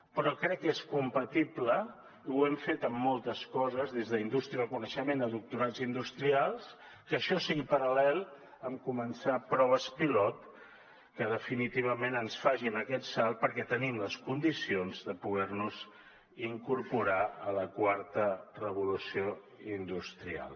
però crec que és compatible i ho hem fet en moltes coses des d’indústria del coneixement a doctorats industrials que això sigui paral·lel amb començar proves pilot que definitivament ens facin aquest salt perquè tenim les condicions de poder nos incorporar a la quarta revolució industrial